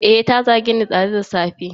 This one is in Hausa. Eh, ta zageni dazu da safe.